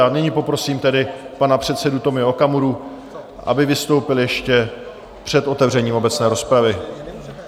A nyní poprosím tedy pana předsedu Tomia Okamuru, aby vystoupil ještě před otevřením obecné rozpravy.